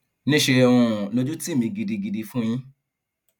níṣẹ um lójú tì mí gidigidi fún yín